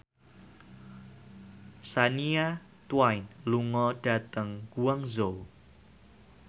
Shania Twain lunga dhateng Guangzhou